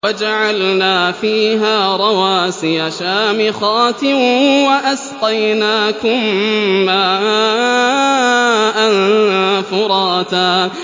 وَجَعَلْنَا فِيهَا رَوَاسِيَ شَامِخَاتٍ وَأَسْقَيْنَاكُم مَّاءً فُرَاتًا